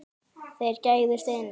Þeir gægðust inn.